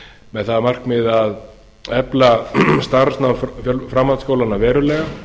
með það að markmiði að efla starfsnám framhaldsskólanna verulega